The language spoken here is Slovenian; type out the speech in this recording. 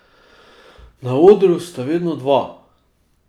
Na odru sta vedno dva.